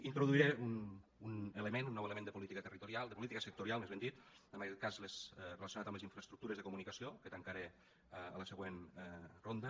introduiré un element un nou element de política territorial de política sectorial més ben dit en aquest cas relacionat amb les infraestructures de comunicació que tancaré a la següent ronda